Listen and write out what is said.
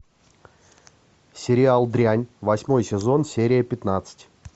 сериал дрянь восьмой сезон серия пятнадцать